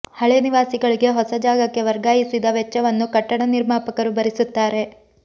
ಹಳೆ ನಿವಾಸಿಗಳಿಗೆ ಹೊಸ ಜಾಗಕ್ಕೆ ವರ್ಗಾಯಿಸಿದ ವೆಚ್ಚವನ್ನು ಕಟ್ಟಡ ನಿರ್ಮಾಪಕರು ಭರಿಸುತ್ತಾರೆ